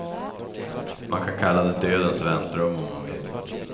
Man kan kalla det dödens väntrum om man vill.